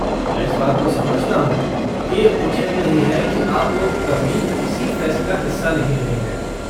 मैं इस बात को समझता हूँ कि ये उचित नहीं है कि आप लोग कभी किसी फ़ेस्ट का हिस्सा नहीं रहे हैं।